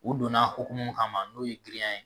U donna hokumu min kama n'o ye diriyan ye